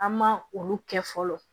An ma olu kɛ fɔlɔ